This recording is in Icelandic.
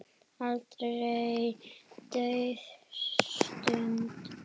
Aldrei dauf stund.